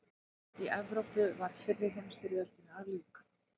Í Evrópu var fyrri heimsstyrjöldinni að ljúka.